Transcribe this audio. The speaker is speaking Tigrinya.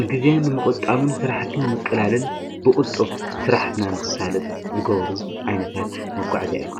ንጊዜ ንመቖጣምን ሥራሕቲምንቕላልን ብቕልጦፍ ሥራሕትና ንክሳለጥ ዝጐብሩ ኣይነታት መጕዕእ